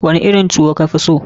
Wani irin tuwo ka fi so?